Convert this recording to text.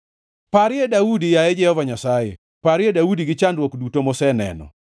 Parie Daudi, yaye Jehova Nyasaye, parie Daudi gi chandruok duto moseneno.